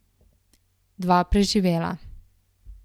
Dva preživela.